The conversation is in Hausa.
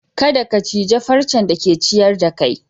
Kadda ka cije farcen da ke ciyar da kai!